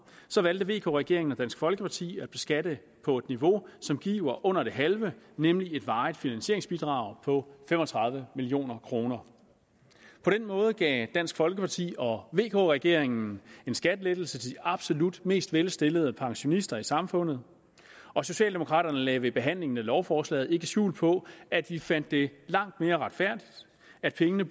så valgte vk regeringen og dansk folkeparti at beskatte på et niveau som giver under det halve nemlig et varigt finansieringsbidrag på fem og tredive million kroner på den måde gav dansk folkeparti og vk regeringen en skattelettelse til de absolut mest velstillede pensionister i samfundet og socialdemokraterne lagde ved behandlingen af lovforslaget ikke skjul på at vi fandt det langt mere retfærdigt at pengene